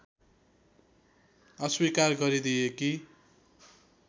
अस्वीकार गरिदिए कि